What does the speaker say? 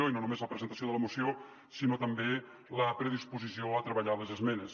i no només la presentació de la moció sinó també la predisposició a treballar les esmenes